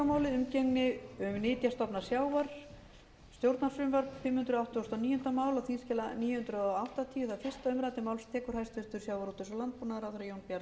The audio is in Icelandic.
frú forseti ég mæli fyrir frumvarpi á þingskjali níu hundruð áttatíu sem er